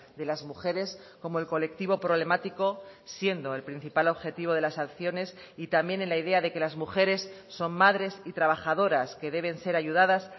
de las mujeres como el colectivo problemático siendo el principal objetivo de las sanciones y también en la idea de que las mujeres son madres y trabajadoras que deben ser ayudadas